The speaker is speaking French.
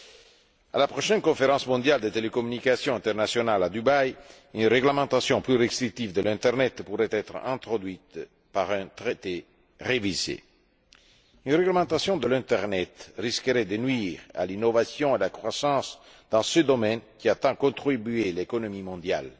Lors de la prochaine conférence mondiale des télécommunications internationales à Dubaï, une réglementation plus restrictive de l'internet pourrait être introduite par un traité révisé. Une réglementation de l'internet risquerait de nuire à l'innovation et à la croissance dans ce domaine, qui a tant contribué à l'économie mondiale.